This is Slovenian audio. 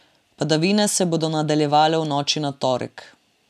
Padavine se bodo nadaljevale v noči na torek.